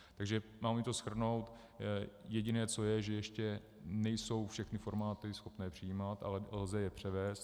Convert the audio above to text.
Takže mám-li to shrnout, jediné, co je, že ještě nejsou všechny formáty schopné přijímat, ale lze je převést.